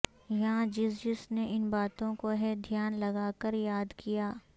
یاں جس جس نے ان باتوں کو ہے دھیان لگا کر یاد کیا